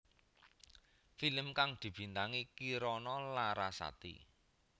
Film kang dibintangi Kirana Larasati